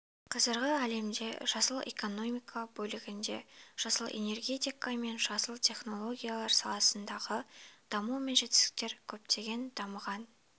қазіргі әлемде жасыл экономка бөлігінде жасыл энергетика мен жасыл технологиялар саласындағы даму мен жетістіктер көптеген дамыған